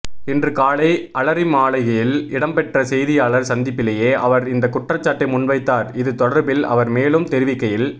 இன்று காலை அலரிமாளிகையில் இடம்பெற்ற செய்தியாளர் சந்திப்பிலேயே அவர் இந்த குற்றச்சாட்டை முன்வைத்தார் இது தொடர்பில் அவர் மேலும் தெரிவிக்கையில்